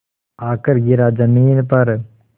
आकर गिरा ज़मीन पर